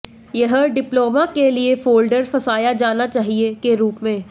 यह डिप्लोमा के लिए फ़ोल्डर फंसाया जाना चाहिए के रूप में